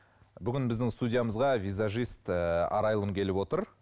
бүгін біздің студиямызға визажист ы арайлым келіп отыр